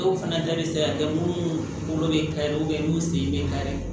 Dɔw fana ta bɛ se ka kɛ munnu bolo bɛ ka minnu sen bɛ kari